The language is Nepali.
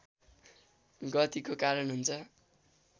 गतिको कारण हुन्छ